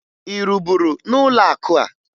Ị rụburu n'ụlọakụ a?